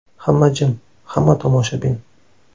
Hamma jim, hamma tomoshabin.